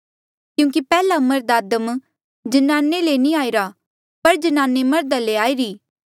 क्यूंकि पैहलामर्ध आदम ज्नाने ले नी आईरा पर ज्नाने मर्धा ले आईरी